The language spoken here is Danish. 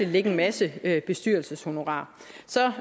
ligge en masse bestyrelseshonorarer så